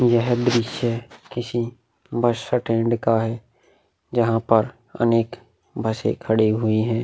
यह दृश्य किसी बस स्टैंड का है। जहां पर अनेक बसे खडी हुई हैं।